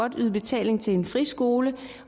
kan yde betaling til en friskole